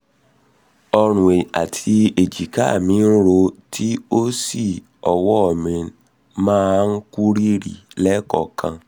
ọrùn àti èjìká mí ń ro tí ó sì ọwọ́ mi máa kú rìrì lẹ́ẹ̀kọ̀ọ̀kan